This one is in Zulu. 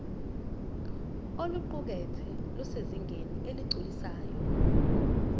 oluqukethwe lusezingeni eligculisayo